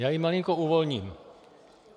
Já ji malinko uvolním.